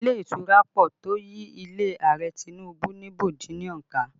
Ilé ìtura pọ̀ tó yí ilé Ààrẹ Tinubu ní bọ́dílọ̀n ká